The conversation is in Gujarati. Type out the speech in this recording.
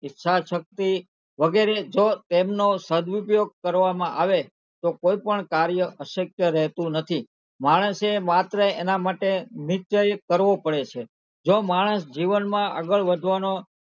ઈચ્છાશક્તિ વગેરે જો તેમનો સદઉપયોગ કરવામાં આવે તો કોઈ પણ કાર્ય અશક્ય રહેતું નથી માણસે માત્ર એનાં માટે નિશ્ચય કરવો પડે છે જો માણસ જીવનમાં આગળ વધવાનો,